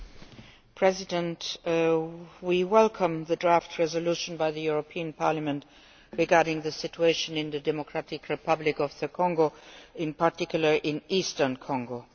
Mr President, we welcome the motion for a resolution by the European Parliament regarding the situation in the Democratic Republic of Congo, in particular in eastern Congo.